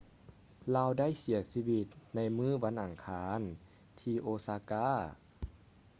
ລາວໄດ້ເສຍຊີວິດໃນມື້ວັນອັງຄານທີ່ ໂອຊາກາ osaka